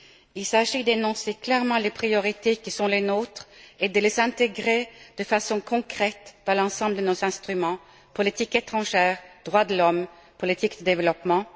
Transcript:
Il s'agit d'énoncer clairement les priorités qui sont les nôtres et de les intégrer de façon concrète dans l'ensemble de nos instruments politique étrangère, droits de l'homme et politique du développement.